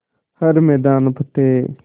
हर मैदान फ़तेह